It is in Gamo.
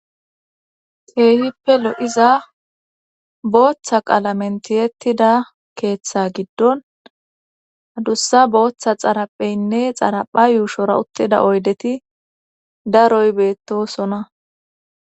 keehippe lo'iza booththa qalamen tiyettida keeththe giddon adussa booththa xarapheynne xarapha yuushora uttida oydeti daroy beettosona